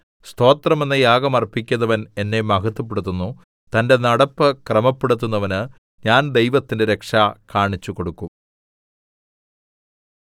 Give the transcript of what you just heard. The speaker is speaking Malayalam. സ്തോത്രമെന്ന യാഗം അർപ്പിക്കുന്നവൻ എന്നെ മഹത്വപ്പെടുത്തുന്നു തന്റെ നടപ്പ് ക്രമപ്പെടുത്തുന്നവന് ഞാൻ ദൈവത്തിന്റെ രക്ഷ കാണിച്ചുകൊടുക്കും